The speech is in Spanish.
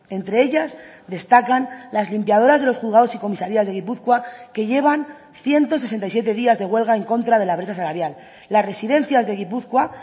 entre ellas destacan las limpiadoras de los juzgados y comisarías de gipuzkoa que llevan ciento sesenta y siete días de huelga en contra de la brecha salarial las residencias de gipuzkoa